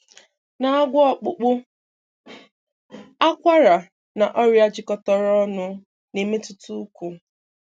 Na-agwọ ọkpụkpụ, akwara na ọrịa jikọtara ọnụ na-emetụta ụkwụ.